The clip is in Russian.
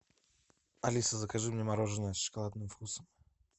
алиса закажи мне мороженое с шоколадным вкусом